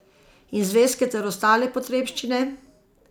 In zvezke ter ostale potrebščine?